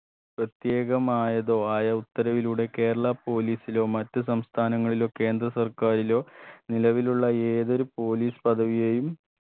പ്രത്യേകമായതോ ആയ ഉത്തരവിലൂടെ കേരള police ലോ മറ്റു സംസ്ഥാനങ്ങളിലോ കേന്ദ്ര സർക്കാരിലോ നിലവിലുള്ള ഏതൊരു police പദവിയേയും